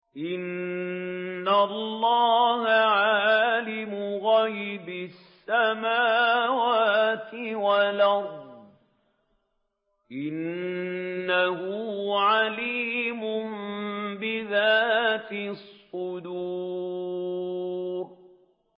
إِنَّ اللَّهَ عَالِمُ غَيْبِ السَّمَاوَاتِ وَالْأَرْضِ ۚ إِنَّهُ عَلِيمٌ بِذَاتِ الصُّدُورِ